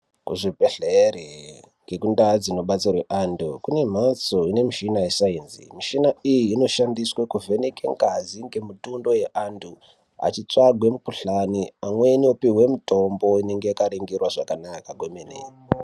Kuzvibhehlera kune mhatso dxinobatsirwa antu inemishina yesainzi mishina iyi inoshandiswa kuvhenekwa ngazi mitundo yevantu veitsvaga mikhuhlani amweni opiwa mitombo inenge yakaninhirwa kwemene